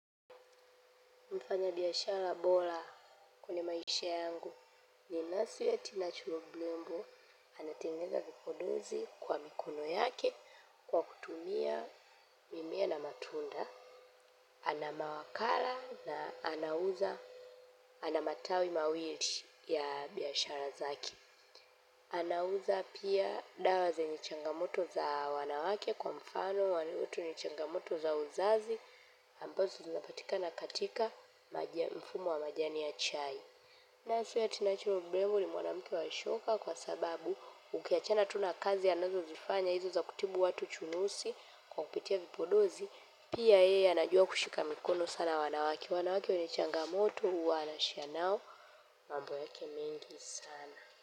Mfanyabiashara bora kwenye maisha yangu ni nesi Tina Chimbolombo anatengeza vipodozi kwa mikono yake kwa kutumia mimea na matunda. Ana mawakala na anauza ana matawi mawili ya biashara zake. Anauza pia dawa zenye changamoto za wanawake kwa mfano ni changamoto za uzazi ambazo zinapatikana katika maji ya mfumo wa majani ya chai Nesi Tina Chilombo ni mwanamike wa shoka kwa sababu ukiachana tu na kazi anazozifanya hizo za kutibu watu chunusi kwa kupitia vipodozi pia yeye anajua kushika mikono sana wanawake wanawake wenye changamoto huwa hana shida nao mambo yake mingi sana.